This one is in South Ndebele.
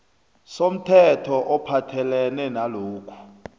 somthetho ophathelene nalokhu